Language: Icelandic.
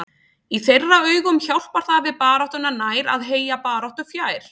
Í þeirra augum hjálpar það við baráttuna nær að heyja baráttu fjær.